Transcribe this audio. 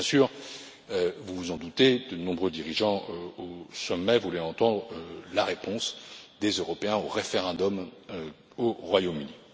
Bien sûr, vous vous en doutez, de nombreux dirigeants présents au sommet voulaient entendre la réponse des européens au référendum du Royaume